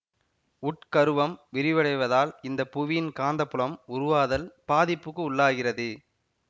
உட் கருவம் விரிவடைவதால் இந்த புவியின் காந்தப்புலம் உருவாதல் பாதிப்புக்கு உள்ளாகிறது